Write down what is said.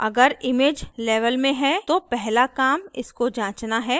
अगर image level में है तो पहला काम इसको जांचना है